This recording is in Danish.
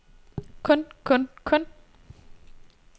kun kun kun